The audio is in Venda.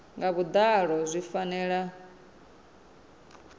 nga vhuḓalo nahone zwi fanela